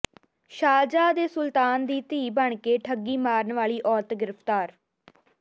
Sharjah ਦੇ ਸੁਲਤਾਨ ਦੀ ਧੀ ਬਣ ਕੇ ਠੱਗੀ ਮਾਰਨ ਵਾਲੀ ਔਰਤ ਗ੍ਰਿਫਤਾਰ